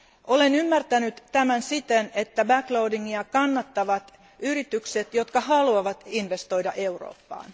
Olen ymmärtänyt tämän siten, että back loadingia kannattavat yritykset, jotka haluavat investoida Eurooppaan.